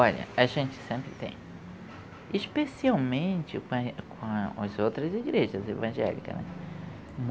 Olha, a gente sempre tem, especialmente com, com as outras igrejas evangélica.